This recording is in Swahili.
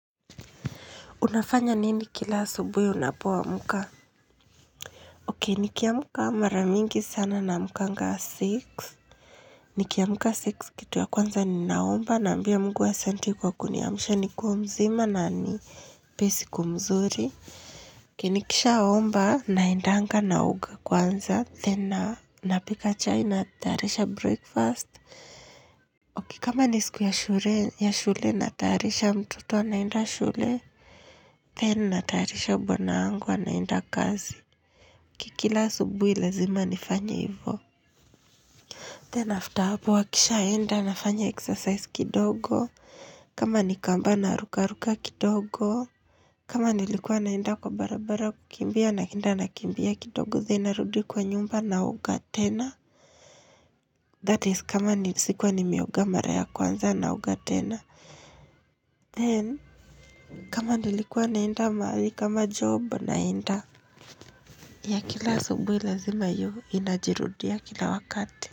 Unafanya nini kila asubuhi unapoamka? Okay, nikiamka mara mingi sana naamkanga six. Nikiamka six kitu ya kwanza ninaomba naambia Mungu asante kwa kuniamsha na niko mzima na anipee siku mzuri. Nikisha omba naendanga naoga kwanza. Then napika chai na tayarisha breakfast. Kama ni siku ya shule natayarisha mtoto anaenda shule. Then natayarisha bwana yangu anaenda kazi Kila asubuhi lazima nifanye hivyo. Then after hapo wakishaenda nafanya exercise kidogo kama ni kamba narukaruka kidogo kama nilikuwa naenda kwa barabara kukimbia naenda nakimbia kidogo, then narudu kwa nyumba naoga tena that is kama sikuwa nimeoga mara ya kwanza naoga tena. Then kama nilikuwa naenda mahali kama job naenda. Yeah kila asubuhi lazima hiyo inajirudia kila wakati.